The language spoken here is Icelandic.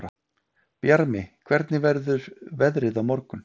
Bjarmi, hvernig verður veðrið á morgun?